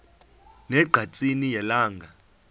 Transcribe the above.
ne ngqatsini yelanga